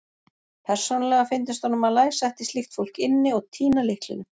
Persónulega fyndist honum að læsa ætti slíkt fólk inni og týna lyklinum.